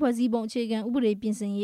ဖွဲ့စည်းပုံ အခြေခံဥပဒေ ပြင်ဆင်ရေ